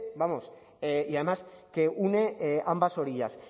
vamos y además que une ambas orillas